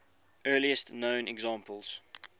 earliest known examples